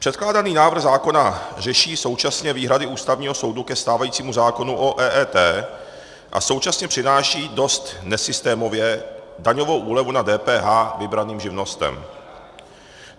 Předkládaný návrh zákona řeší současně výhrady Ústavního soudu ke stávajícímu zákonu o EET a současně přináší dost nesystémově daňovou úlevu na DPH vybraným živnostem.